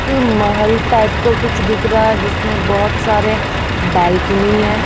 एक महल टाइप का कुछ दिख रहा है जिसमें बहुत सारे बालकुनी हैं।